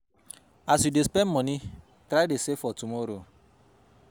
As you de spend today try dey save for tomorrow